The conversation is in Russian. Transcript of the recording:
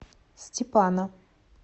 степана